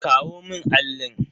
Kawo mun allin.